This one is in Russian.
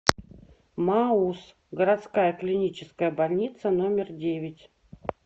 мауз городская клиническая больница номер девять